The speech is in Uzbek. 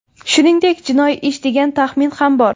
Shuningdek, jinoiy ish degan taxmin ham bor.